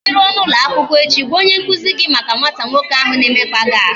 I ruo n'ụlọ akwụkwọ echi, gwa onye nkuzi gị maka nwata nwoke ahụ na-emekpa gị ahụ